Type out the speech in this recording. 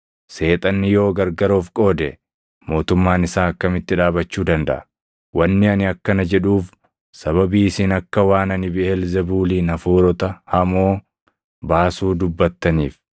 Seexanni yoo gargar of qoode, mootummaan isaa akkamitti dhaabachuu dandaʼa? Wanni ani akkana jedhuuf sababii isin akka waan ani Biʼeelzebuuliin hafuurota hamoo baasuu dubbattaniif.